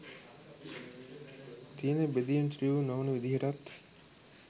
තියෙන බෙදීම් තීව්‍ර නොවන විදිහටත්